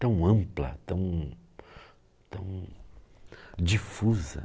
tão ampla, tão tão difusa.